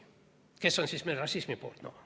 No kes on meil rassismi poolt?